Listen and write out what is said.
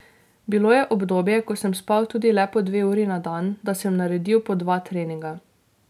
Bilo je obdobje, ko sem spal tudi le po dve uri na dan, da sem naredil po dva treninga.